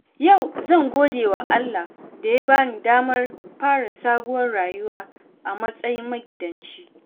Yau zan gode wa Allah da ya bani damar fara sabuwar rayuwa a matsayin magidanci.